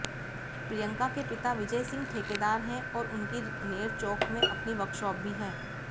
प्रियंका के पिता विजय सिंह ठेकेदार हैं और उनकी नेरचौक में अपनी वर्कशॉप भी है